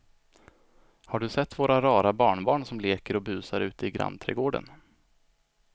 Har du sett våra rara barnbarn som leker och busar ute i grannträdgården!